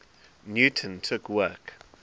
newton took work